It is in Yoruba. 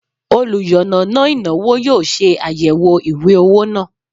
oluyannana inawo yoo se ayewo iwe owo naa